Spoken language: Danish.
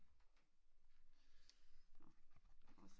Nå lad os